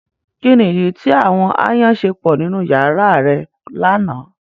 Kini idi ti àwọn aayan ṣe pọ ninu yara rẹ lana?